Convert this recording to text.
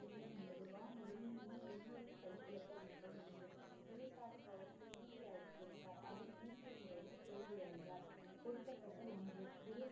இருவரும் கை குலுக்கு வேண்டும் என்று குரு சாஹிப் அவர் மூன்று முறையும் தோல்வி அடைந்தார் கொடுக்கப்பட்ட ஒன்று